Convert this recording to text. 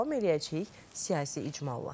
davam eləyəcəyik siyasi icmalla.